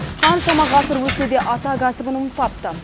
қаншама ғасыр өтсе де ата кәсібін ұмытпапты